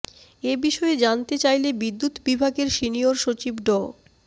এ বিষয়ে জানতে চাইলে বিদ্যুৎ বিভাগের সিনিয়র সচিব ড